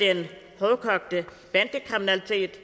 den hårdkogte bandekriminalitet